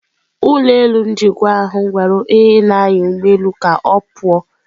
Ụlọ elu njikwa ahụ gwara onye na-anya ụgbọelu ka ọ pụọ.